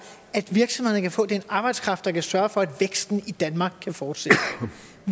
at virksomhederne kan få den arbejdskraft der kan sørge for at væksten i danmark kan fortsætte